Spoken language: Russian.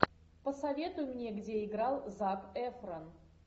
посоветуй мне где играл зак эфрон